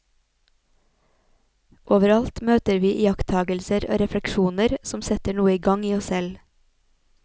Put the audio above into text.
Overalt møter vi iakttagelser og refleksjoner som setter noe i gang i oss selv.